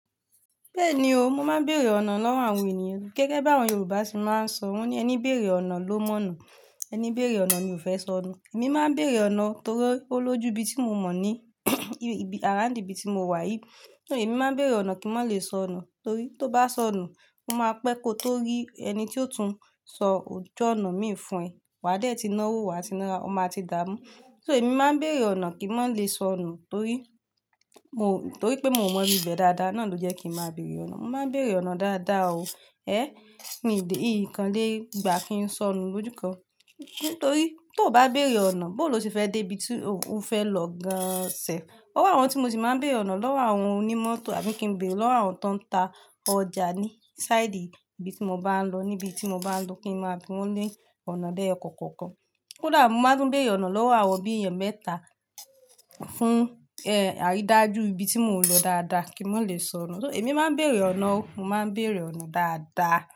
Bẹ́ẹ̀ni o, mo máa ń bèrè ọ̀nà lọ́wọ́ àwọn ènìyàn. Gẹ́gẹ́ bí àwọn Yorùbá ṣe máa ń sọ, wọ́n ní "ẹni béèrè ọ̀nà ló mọ̀ ọ̀nà, ẹni béèrè ọ̀nà ni ò fẹ́ sọnù". Èmi máa ń bèrè ọ̀nà o torí ò lójú ibi tí mo mọ̀ ní around ibi tí mo wà yìí. Ṣo èmi máa ń bèrè ọ̀nà kí n má lè sọnù torí tó bá sọnù, ó máa pẹ́ kó tó rí ẹni tí yóò tún sọ ojú ọ̀nà mi fún ẹ. Waa dẹ́ ti náwó, wa ti nará, ọ maa ti dàámú. So èmi máa ń bèrè ọ̀nà kí n má lè sọnù torí mo, torí pé mo mọ ìbi bẹ̀ dáadáa, náà ló jẹ́ kí máa bèrè ọ̀nà. Mo máa ń bèrè ọ̀nà dáadáa o, ẹ́, n ǹkàn lé gbà kí n sọnù lójú kan. Torí tó bá bèrè ọ̀nà, bó ló ṣe fẹ́ dé ibi tí o fẹ́ lọ gan-an ṣẹ̀. O wọ́ àwọn tí mo sì máa ń bèrè ọ̀nà lọ́wọ́ àwọn onímọ́tò àbí kí n bèrè lọ́wọ́ àwọn tó ń ta ọjà ní side ibi tí mo bá ń lọ, níbi tí mo bá ń lọ kí n má bí wọ́n ní ọ̀nà l'ẹ́yọ kọ̀ọ̀kan kọ̀ọ̀kan. Kódà mo máa tún bèrè ọ̀nà lọ́wọ́ àwọn bí èèyàn mẹ́ta fún, ẹ́, àrídájú ibi tí mò ń lọ dáadáa kí n má lè sọnù. So èmi máa ń bèrè ọ̀nà o, mo máa ń bèrè ọ̀nà dáadáa.